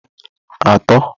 atọ